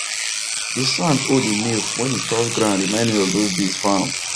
the sound hoe dey make when e touch ground remind me of those days farm